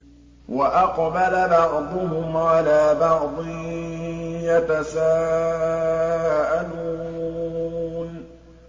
وَأَقْبَلَ بَعْضُهُمْ عَلَىٰ بَعْضٍ يَتَسَاءَلُونَ